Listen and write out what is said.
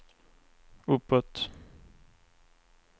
uppåt